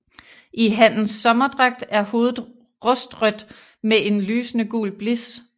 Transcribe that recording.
I hannens sommerdragt er hovedet rustrødt med en lysende gul blis